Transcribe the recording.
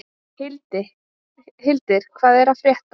Hildir, hvað er að frétta?